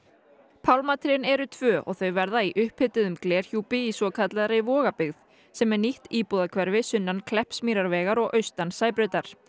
pálmatrén eru tvö og þau verða í upphituðum í svokallaðri sem er nýtt íbúðahverfi sunnan Kleppsmýrarvegar og austan Sæbrautar